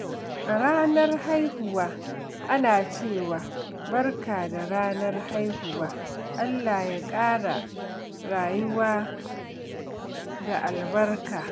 A ranar haihuwa, ana cewa, "Barka da ranar haihuwa, Allah ya ƙara rayuwa da albarka."